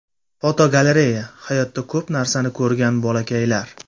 Fotogalereya: Hayotda ko‘p narsani ko‘rgan bolakaylar.